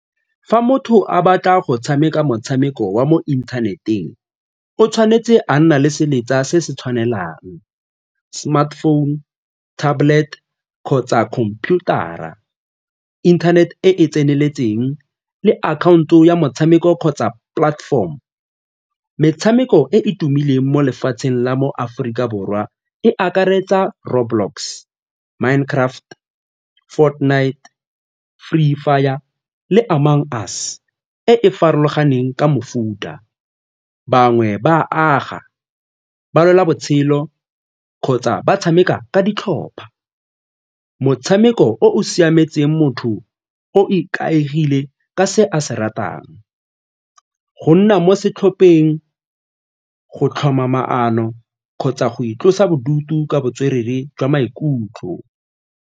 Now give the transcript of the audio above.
Fa motho a batla go tshameka motshameko wa mo inthaneteng, o tshwanetse a nna le seletsa se se tshwanelang smartphone, tablet kgotsa computer-ra, internet e e tseneletseng le akhaonto ya motshameko kgotsa platform. Metshameko e e tumileng mo lefatsheng la mo Aforika Borwa borwa e akaretsa Road Blocks, Mind Craft, Fourtnight, Free Fire le Amang Us e e farologaneng ka mofuta. Bangwe ba aga ba lela botshelo kgotsa ba tshameka ka ditlhopha, motshameko o o siametseng motho o ikaegile ka se a se ratang. Go nna mo setlhopheng go tlhoma maano kgotsa go itlosa bodutu ka botswerere jwa maikutlo.